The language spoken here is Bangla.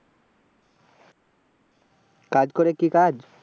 কাজ করে, কি কাজ?